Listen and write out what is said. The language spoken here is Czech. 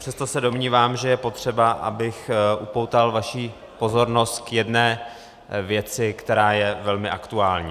Přesto se domnívám, že je potřeba, abych upoutal vaši pozornost k jedné věci, která je velmi aktuální.